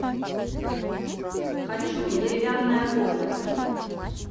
хочу деревянная комната